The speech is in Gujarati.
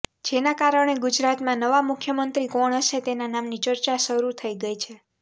જેના કારણે ગુજરાતમાં નવા મુખ્યમંત્રી કોણ હશે તેના નામની ચર્ચા શરૂ થઇ ગઇ છે